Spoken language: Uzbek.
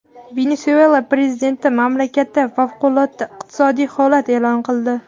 Venesuela prezidenti mamlakatda favqulodda iqtisodiy holat e’lon qildi.